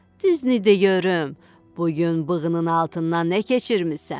Düznü deyirəm, bu gün bığının altından nə keçirmisən?"